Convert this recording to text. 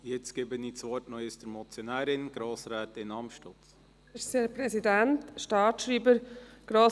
Ich gebe nochmals der Motionärin, Grossrätin Amstutz, das Wort.